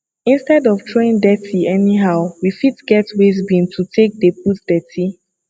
instead of throwing dirty anyhow we fit get waste bin to take dey put dirty